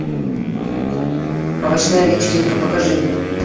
овощная вечеринка покажи